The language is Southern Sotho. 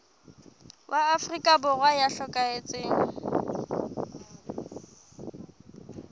wa afrika borwa ya hlokahetseng